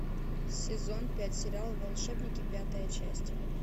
сезон пять сериал волшебники пятая часть